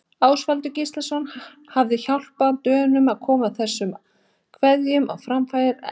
Ástvaldur Gíslason hafi hjálpað Dönum að koma þessum kveðjum á framfæri hérlendis.